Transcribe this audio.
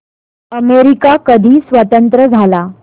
America कधी स्वतंत्र झाला